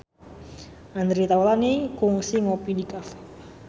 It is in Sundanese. Andre Taulany kungsi ngopi di cafe